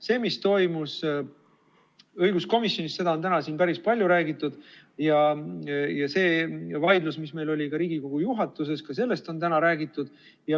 Sellest, mis toimus õiguskomisjonis, on täna siin päris palju räägitud, ja ka sellest vaidlusest, mis meil oli Riigikogu juhatuses, on täna räägitud.